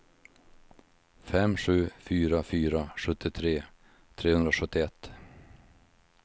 fem sju fyra fyra sjuttiotre trehundrasjuttioett